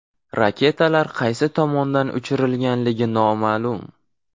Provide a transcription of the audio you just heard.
Raketalar qaysi tomondan uchirilganligi noma’lum.